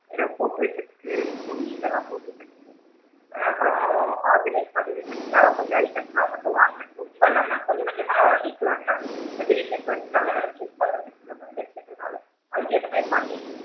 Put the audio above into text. எதுனா போட்டு வைக்கிறதுக்கு பொடி இதலாம் போட்டு வச்சு ஆ அப்பறம் organise பண்ணி வைக்கிறதுக்காக கொஞ்சம் items லா மட்டும் வாங்கணும் ரொம்ப இல்லாம கொஞ்ச கொஞ்சமா வாங்கிக்கலாம் என்ன இப்ப திடீர்ன்னு நல்லா வேல shift பண்ற வந்துட்டனால அதுக்கு ஏத்த மாதிரி பண்ணிட்டு,